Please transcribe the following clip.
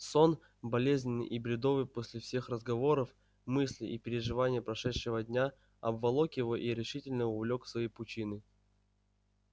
сон болезненный и бредовый после всех разговоров мыслей и переживаний прошедшего дня обволок его и решительно увлёк в свои пучины